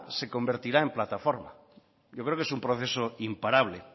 se convertirá en plataforma yo creo que es un proceso imparable